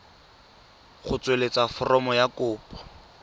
go tsweletsa foromo ya kopo